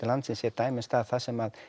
landsins er dæmi um stað þar sem